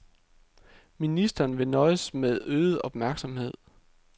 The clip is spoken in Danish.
Ministeren vil nøjes med øget opmærksomhed.